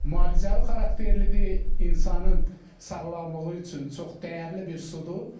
Müalicəvi xarakterlidir, insanın sağlamlığı üçün çox dəyərli bir sudur.